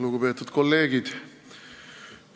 Lugupeetud kolleegid!